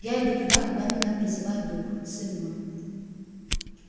я иду туда куда меня призывает дух сын мой